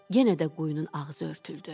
Yenə də quyunun ağzı örtüldü.